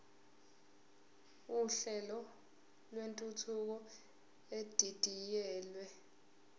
uhlelo lwentuthuko edidiyelwe